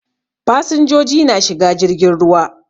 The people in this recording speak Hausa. Fasinjoji na shiga jirgin ruwa.